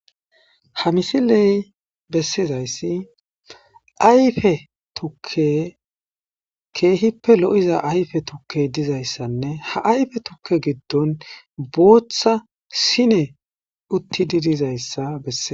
Ha misiley bessizaysi ayfe tukke keehippe lo7iza ayfe tukkey dizayssanne ,ha ayfe tukke giddon bootha siney uttidi dizayssa bessees.